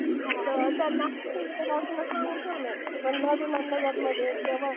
तर त्यांना सांगून ठेवलंय म्हणलं विमान नगरमध्ये किंवा